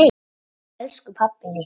Elsku pabbi litli.